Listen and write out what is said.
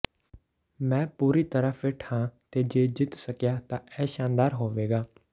ਮੈਂ ਪੂਰੀ ਤਰ੍ਹਾਂ ਫਿੱਟ ਹਾਂ ਤੇ ਜੇ ਜਿੱਤ ਸਕਿਆ ਤਾਂ ਇਹ ਸ਼ਾਨਦਾਰ ਹੋਵੇਗਾ